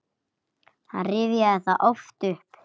Hann rifjaði það oft upp.